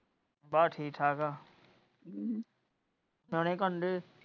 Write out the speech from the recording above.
ਬਸ ਠੀਕ ਠਾਕ ਹਾਂ ਨਿਆਣੇ ਕਿ ਕਰਨ ਡਏ?